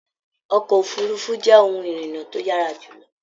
Ọkọ òfurùnfu jẹ ohùn irinna to yara jùlọ.